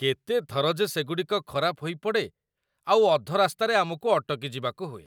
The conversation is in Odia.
କେତେ ଥର ଯେ ସେଗୁଡ଼ିକ ଖରାପ ହୋଇପଡ଼େ, ଆଉ ଅଧରାସ୍ତାରେ ଆମକୁ ଅଟକିଯିବାକୁ ହୁଏ!